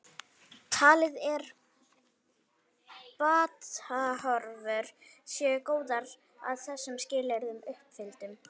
Talið er að batahorfur séu góðar að þessum skilyrðum uppfylltum.